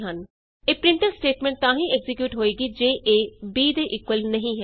ਇਹ printf statement ਤਾਂ ਹੀ ਐਕਜ਼ੀਕਿਯੂਟ ਹੋਏਗੀ ਜੇ a b ਦੇ ਇਕੁਅਲ ਨਹੀਂ ਹੈ